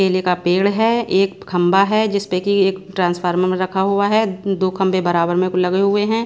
केले का पेड़ है एक खंभा है जिस पे कि एक ट्रांसफार्मर रखा हुआ है दो खंभे बराबर में को लगे हुए हैं।